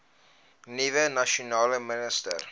nuwe nasionale minister